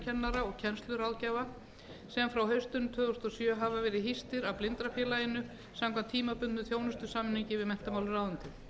blindrakennara og kennsluráðgjafa sem frá haustinu tvö þúsund og sjö hafa verið hýstir af blindrafélaginu samkvæmt tímabundnum þjónustusamningi við menntamálaráðuneytið